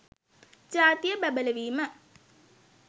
ජාතිය බැබළවීම